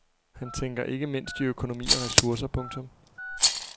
Han tænker ikke mindst i økonomi og ressourcer. punktum